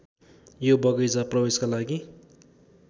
यो बगैंचा प्रवेशका लागि